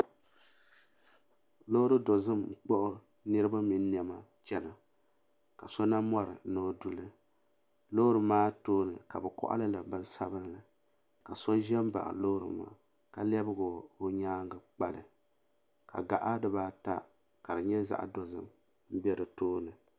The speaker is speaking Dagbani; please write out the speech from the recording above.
Loori dozim n kpuɣi niriba mini niɛma n chena ka so na mori ni o duli loori maa tooni ka bɛ koɣali li binsabinli ka so ʒɛm baɣi loori maa ka lebigi o nyaanga kpali ka gaɣa dibaata ka di nyɛ zaɣa dozim m be di tooni.